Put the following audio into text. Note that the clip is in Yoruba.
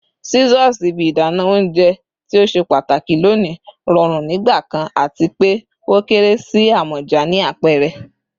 Scissors, ibi idana ounjẹ ti o ṣe pataki loni, rọrun nigbakan ati pe o kere si amọja ni apẹrẹ